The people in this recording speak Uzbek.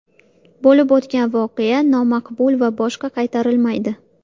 Bo‘lib o‘tgan voqea nomaqbul va u boshqa qaytarilmaydi”.